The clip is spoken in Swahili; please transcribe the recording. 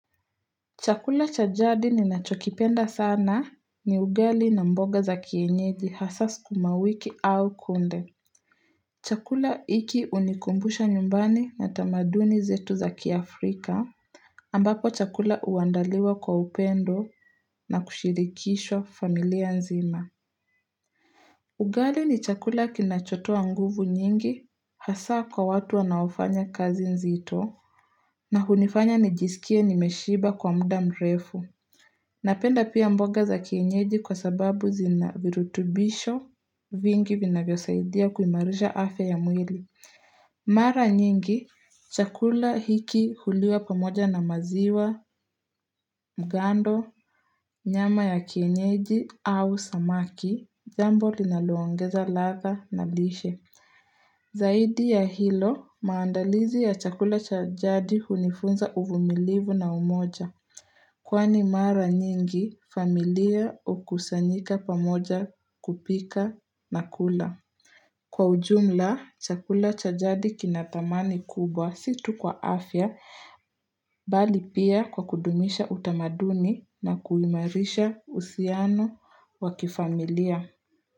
Chakula cha jadi ninacho kipenda sana ni ugali na mboga za kienyeji hasa sukumawiki au kunde. Chakula hiki hunikumbusha nyumbani na tamaduni zetu za kiafrika. Ambapo chakula uandaliwa kwa upendo na kushirikishwa familia nzima. Ugali ni chakula kinachotoa nguvu nyingi hasa kwa watu wanaofanya kazi nzito. Na hunifanya nijisikie nimeshiba kwa muda mrefu. Napenda pia mboga za kienyeji kwa sababu zina virutubisho vingi vinavyo saidia kuimarisha afya ya mwili. Mara nyingi, chakula hiki huliwa pamoja na maziwa, mgando, nyama ya kienyeji au samaki, jambo linalo ongeza ladhaa na lishe. Zaidi ya hilo, maandalizi ya chakula cha jadi hunifunza uvumilivu na umoja. Kwani mara nyingi, familia hukusanyika pamoja kupika na kula. Kwa ujumla, chakula cha jadi kina thamani kubwa si tu kwa afya, bali pia kwa kudumisha utamaduni na kuimarisha uhusiano wa kifamilia.